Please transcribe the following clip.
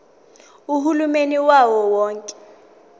uhulumeni wawo wonke